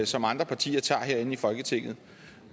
som andre partier tager herinde i folketinget